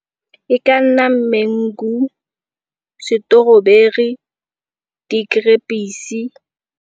E ka nna mangu, setoroberu, .